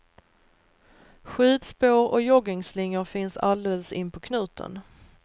Skidspår och joggingslingor finns alldeles inpå knuten.